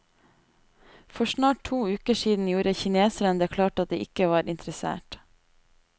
For snart to uker siden gjorde kineserne det klart at de ikke var interessert.